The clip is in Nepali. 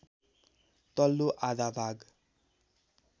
तल्लो आधा भाग